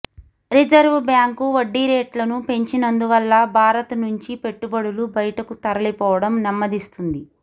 reserve Bank వడ్డీరేట్లను పెంచినందువల్ల భారత్ నుంచి పెట్టుబడులు బయటకు తరలిపోవడం నెమ్మదిస్తుంది